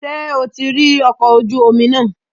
Ṣé o ti rí ọkọ̀ ojú omi náà?